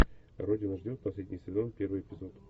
родина ждет последний сезон первый эпизод